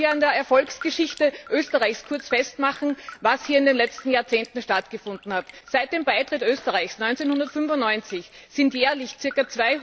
Ich möchte hier an der Erfolgsgeschichte Österreichs kurz festmachen, was hier in den letzten Jahrzehnten stattgefunden hat Seit dem Beitritt Österreichs 1995 sind jährlich ca.